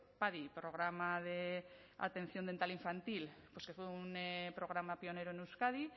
padi programa de atención dental infantil pues que fue un programa pionero en euskadi